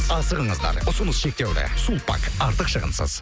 асығыңыздар ұсыныс шектеулі сулпак артық шығынсыз